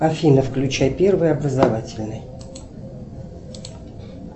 афина включай первый образовательный